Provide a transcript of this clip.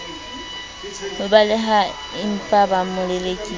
ho balehaempa ba mo lelekisa